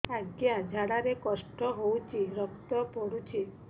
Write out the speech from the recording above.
ଅଜ୍ଞା ଝାଡା ରେ କଷ୍ଟ ହଉଚି ରକ୍ତ ପଡୁଛି